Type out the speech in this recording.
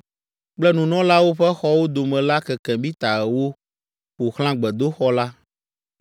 kple nunɔlawo ƒe xɔwo dome la keke mita ewo ƒo xlã gbedoxɔ la.